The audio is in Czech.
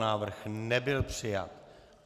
Návrh nebyl přijat.